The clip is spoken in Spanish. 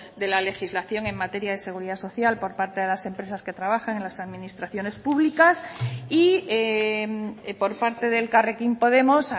de la legislación en materia de seguridad social por parte de las empresas que trabajan en las administraciones públicas y por parte de elkarrekin podemos